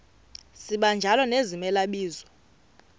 sibanjalo nezimela bizo